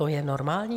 To je normální?